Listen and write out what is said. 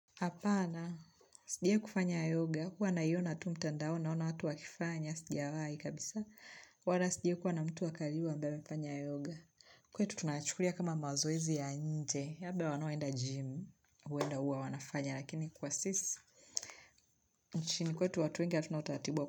Hapana, sijai kufanya yoga, huwa naiona tu mtandao naona watu wakifanya, sijawai kabisa, wala sijai kuwa na mtu wa karibu ambae amfanya yoga. Kwetu tunayachukulia kama mazoezi ya nje, labda wanaoenda gym, huwenda huwa wanafanya, lakini kwa sisi, nchini kwetu watu wengi hatuna utaratibu wa kwa.